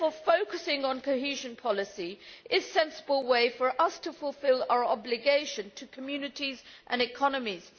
Focusing on cohesion policy is a sensible way for us to fulfil our obligation to communities and economies.